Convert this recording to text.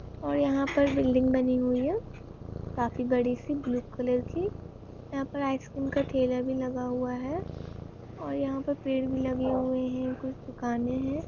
और यहाँ पर बिल्डिंग बनी हुई है काफी बड़ी सी ब्लू कलर की। यहाँ पर आइसक्रीम का ठेला भी लगा हुआ है और यहाँ पे पेड़ भी लगे हुए हैं कुछ दुकाने हैं।